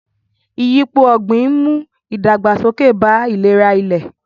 Ìyípo ọ̀gbìn ń mú ìdàgbàsókè bá ìlera ilẹ̀.